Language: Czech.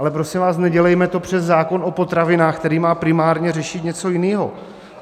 Ale prosím vás, nedělejme to přes zákon o potravinách, který má primárně řešit něco jiného.